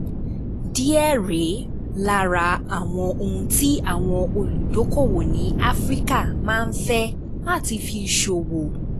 Díẹ̀ rèé lára àwọn ohun tí àwọn olùdókòwò ní Áfíríkà máa ń fẹ́ láti fi ṣòwò.